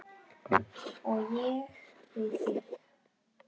Og ég við þig.